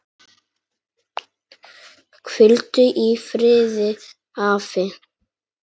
Hvíldu í friði afi.